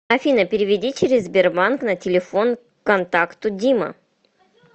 афина переведи через сбербанк на телефон контакту дима